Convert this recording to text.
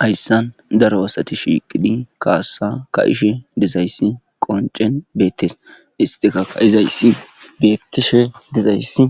hayssan daro asati shiiqidhi kaassa ka ishe dizayssi qoncen beettes istika kaizayssi beyettishe dizayssi